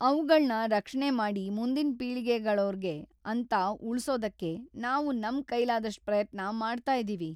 ಅವ್ಗಳ್ನ ರಕ್ಷಣೆ ಮಾಡಿ ಮುಂದಿನ್ ಪೀಳಿಗೆಗಳೋರ್ಗೆ ಅಂತ ಉಳ್ಸೋದಕ್ಕೆ ನಾವು ನಮ್ ಕೈಲಾದಷ್ಟ್ ಪ್ರಯತ್ನ ಮಾಡ್ತಾ ಇದೀವಿ.